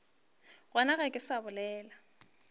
gona ga ke sa bolela